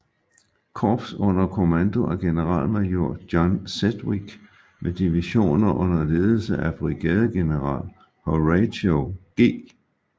Korps under kommando af generalmajor John Sedgwick med divisioner under ledelse af brigadegeneral Horatio G